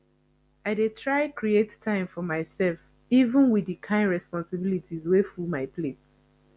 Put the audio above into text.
i dey try create time for myself even wit di kain responsibilities wey full my plate